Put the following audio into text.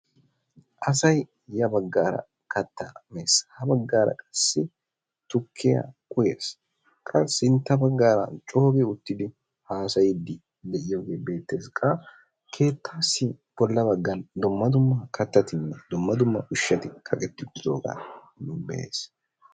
Asay ya baggaara kattaa mees, ha baggaara qassi tukkiya uyees. Qa sintta baggaara coo gi uttidi haasayidi de'iyogee beettees. Qa keettaassi bolla baggan dumma dumma kattatinne ushati kaqetti uttiddogaa be'aas.